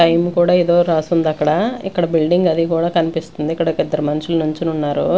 Time కూడా ఇదో రాస్తుంది అక్కడ ఇక్కడ బిల్డింగ్ అది కూడా కనిపిస్తుంది ఇక్కడ ఒక ఇద్దరు మనుషులు నించొని ఉన్నారు.